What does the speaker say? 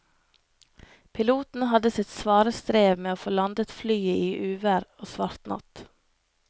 Piloten hadde sitt svare strev med å få landet flyet i uvær og svart natt.